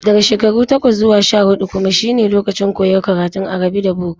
Daga shekaru takwas zuwa sha-huɗu kuma shine lokacin koyon karatun arabi da boko.